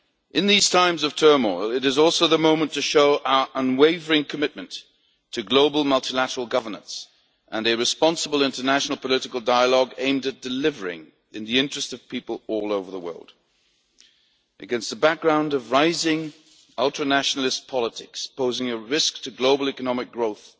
In these times of turmoil, it is also the moment to show our unwavering commitment to global multilateral governance and responsible international political dialogue, aimed at delivering in the interest of people all over the world. Against a background of rising ultra nationalist politics, posing a risk to global economic growth